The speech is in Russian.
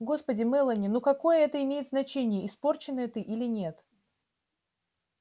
господи мелани ну какое это имеет значение испорченная ты или нет